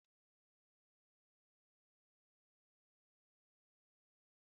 Akụkọ nkịta na nwamba mere ka m bee akwa n'ezie